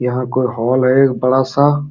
यहाँ कोई हॉल है बड़ा सा।